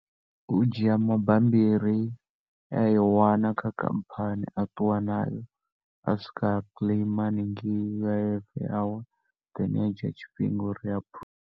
U dzhia mabambiri e a i wana kha khamphani, a ṱuwa na o a swika a claim haningei U_I_F ya hone, i ya dzhia tshifhinga uri a .